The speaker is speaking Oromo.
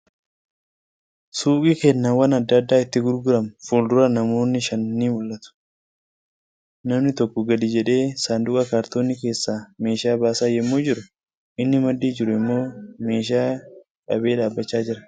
Suuqii kennaawwan adda addaa itti gurguramu fuuldura namoonni shan ni mul'atu. Namni tokko gadi jedhee sanduuqa kaartoonii keessaa meeshaa baasaa yemmu jiru inni maddii jiru immoo meeshaa qabee dhaabbachaa jira.